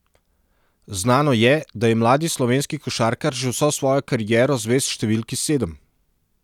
Znano je, da je mladi slovenski košarkar že vso svojo kariero zvest številki sedem.